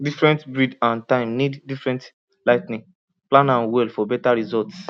different breed and time need different lighting plan am well for better results